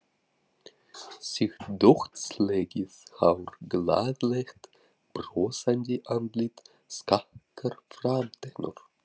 Sítt dökkt slegið hár, glaðlegt brosandi andlit, skakkar framtennur.